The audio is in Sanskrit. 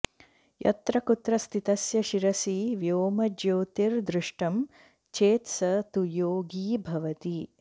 यत्र कुत्र स्थितस्य शिरसि व्योमज्योतिर्दृष्टं चेत् स तु योगी भवति